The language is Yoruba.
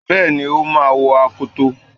Bẹ́ẹ̀ni, o máa wọ akoto.